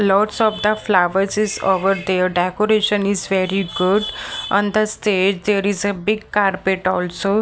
Lots of the flowers is over there decoration is very good on the stage there is a big carpet also.